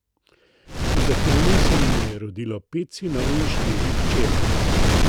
V zakonu se jima je rodilo pet sinov in štiri hčere.